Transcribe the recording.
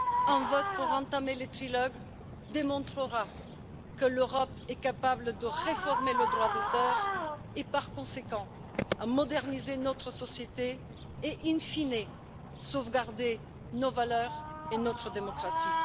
Un vote pour entamer le trilogue démontrera que l'Europe est capable de réformer le droit d'auteur, et par conséquent de moderniser notre société et, in fine de sauvegarder nos valeurs et notre démocratie.